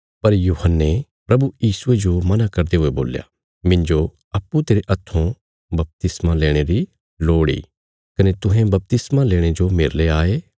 पर यूहन्ने प्रभु यीशुये जो मना करदे हुये बोल्या मिन्जो अप्पूँ तेरे हत्थों बपतिस्मा लेणे री लोड़ इ कने तुहें बपतिस्मा लेणे जो मेरले आये